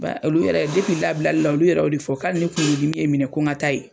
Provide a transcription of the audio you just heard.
Wa olu yɛrɛ labilali la olu yɛrɛ' o de fɔ k'ale ne kunkolo dimi ye minɛ ko nka taa ye.